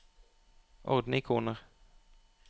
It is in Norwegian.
ordne ikoner